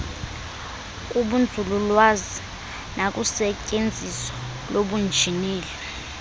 kubunzululwazi nakusetyenziso lobunjineli